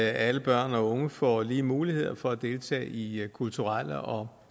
alle børn og unge får lige muligheder for at deltage i i kulturelle og